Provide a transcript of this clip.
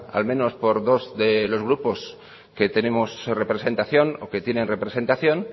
al menos por dos de los grupos que tenemos representación o que tienen representación